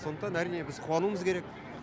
сондықтан әрине біз қуануымыз керек